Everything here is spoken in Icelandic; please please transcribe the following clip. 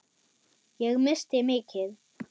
Ég missti mikið.